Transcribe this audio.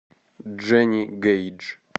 дженни гейдж